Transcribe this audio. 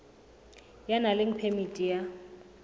ya nang le phemiti ya